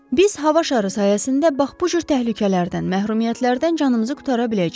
Biz hava şarı sayəsində bax bu cür təhlükələrdən, məhrumiyyətlərdən canımızı qurtara biləcəyik.